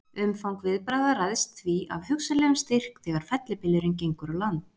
Umfang viðbragða ræðst því af hugsanlegum styrk þegar fellibylurinn gengur á land.